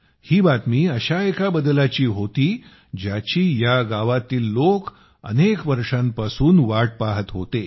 ही बातमी अशा एका बदलाची होती ज्याची या गावातील लोक अनेक वर्षांपासून वाट पाहत होते